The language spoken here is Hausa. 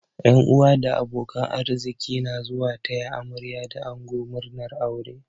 Yan uwa da abokan arziki na zuwa taya amarya da ango murnar aure.